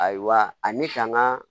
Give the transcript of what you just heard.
Ayiwa ani ka n ka